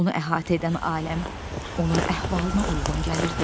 Onu əhatə edən aləm onun əhvalına uyğun gəlirdi.